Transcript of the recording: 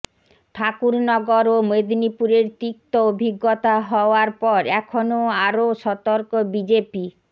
ঠাকুরনগর ও মোদিনীপুরের তিক্ত অভিজ্ঞতা হওয়ার পর এখনও আরও সতর্ক বিজেপি